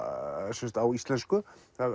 sem sagt á íslensku